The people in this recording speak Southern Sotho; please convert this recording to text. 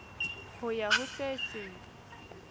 ho ya ho se seng